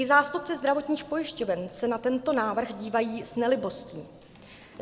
I zástupci zdravotních pojišťoven se na tento návrh dívají s nelibostí.